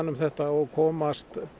um þetta og komast